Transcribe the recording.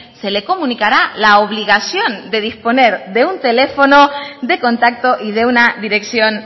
se le comunicará la obligación de disponer de un teléfono de contacto y de una dirección